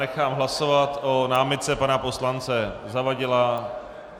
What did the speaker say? Nechám hlasovat o námitce pana poslance Zavadila.